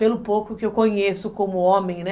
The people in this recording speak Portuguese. Pelo pouco que eu conheço como homem, né?